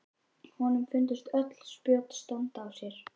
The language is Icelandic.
Honum fundust öll spjót standa á sér.